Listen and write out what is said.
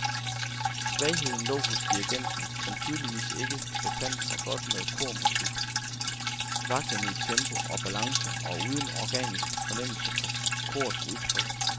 Svagheden lå hos dirigenten, som tydeligvis ikke befandt sig godt med kormusik, vaklende i tempo og balance og uden organisk fornemmelse for korets udtryk.